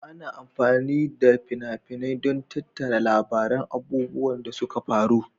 Ana amfani da fina-finai don tattara labaran abubuwan da suka faru.